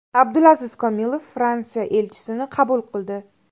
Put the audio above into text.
Abdulaziz Komilov Fransiya elchisini qabul qildi.